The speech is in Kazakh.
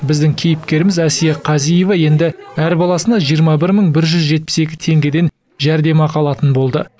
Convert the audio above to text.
біздің кейіпкеріміз әсия қазиева енді әр баласына жиырма бір мың бір жүз жетпіс екі теңгеден жәрдемақы алатын болды